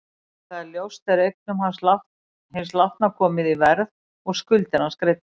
Þegar það er ljóst er eignum hins látna komið í verð og skuldir hans greiddar.